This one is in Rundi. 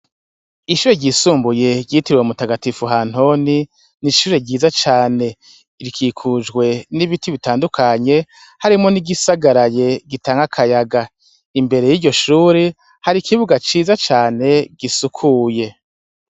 Ishure ryisumbuye batazira mutagatifu ntoni nishure ryiza cane rikikujwe nibiti bitandukanye harimwo nigisagaraye gitanga akayaga imbere yiryoshure hari ikibuga ciza cane gisukuye